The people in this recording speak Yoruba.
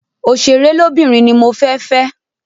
Oṣèré lóbìnrin ni mo fẹ́ fẹ́.